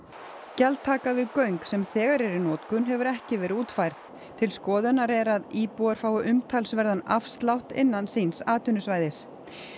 gjaldtaka við göng sem þegar eru í notkun hefur ekki verið útfærð til skoðunar er að íbúar fái umtalsverðan afslátt innan síns atvinnusvæðis